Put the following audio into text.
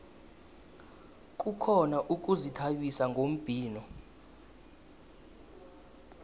kukhona ukuzithabisa ngombhino